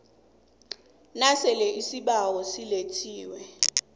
nasele isibawo silethiwe